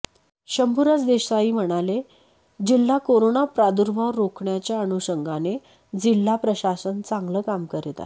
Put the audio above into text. शंभुराज देसाई म्हणाले जिल्हा कोरोना प्रादुर्भाव रोखण्याच्या अनुषंगाने जिल्हा प्रशासन चांगल काम करत आहे